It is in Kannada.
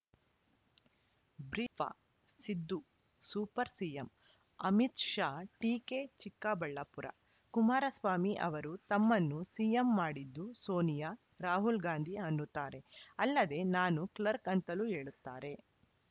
ಬ್ರೀಫ ಸಿದ್ದು ಸೂಪರ್‌ ಸಿಎಂ ಅಮಿತ್‌ ಶಾ ಟೀಕೆ ಚಿಕ್ಕಬಳ್ಳಾಪುರ ಕುಮಾರಸ್ವಾಮಿ ಅವರು ತಮ್ಮನ್ನು ಸಿಎಂ ಮಾಡಿದ್ದು ಸೋನಿಯಾ ರಾಹುಲ್‌ ಗಾಂಧಿ ಅನ್ನುತ್ತಾರೆ ಅಲ್ಲದೆ ನಾನು ಕ್ಲರ್ಕ್ ಅಂತಲೂ ಹೇಳುತ್ತಾರೆ